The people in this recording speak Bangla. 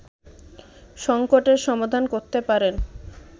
সংকটের সমাধান করতে পারেন